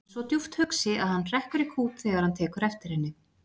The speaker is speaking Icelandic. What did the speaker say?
Hann er svo djúpt hugsi að hann hrekkur í kút þegar hann tekur eftir henni.